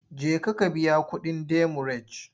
Jeka ka biya kuɗin demurej!